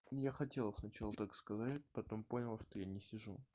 я хотел сначала так сказать потом понял что я не сижу